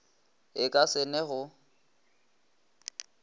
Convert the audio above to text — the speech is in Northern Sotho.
e ka se ne go